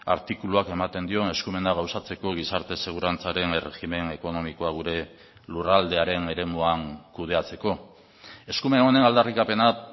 artikuluak ematen dion eskumena gauzatzeko gizarte segurantzaren erregimen ekonomikoa gure lurraldearen eremuan kudeatzeko eskumen honen aldarrikapena